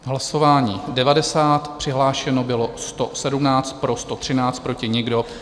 Hlasování 90, přihlášeno bylo 117, pro 113, proti nikdo.